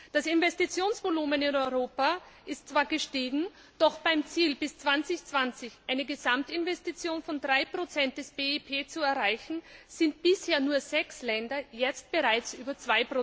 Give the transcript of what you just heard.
Das Investitionsvolumen in Europa ist zwar gestiegen, doch bei dem Ziel, bis 2020 eine Gesamtinvestition von 3 des BIP zu erreichen, sind bisher nur sechs Länder jetzt bereits über